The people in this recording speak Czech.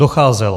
Docházelo.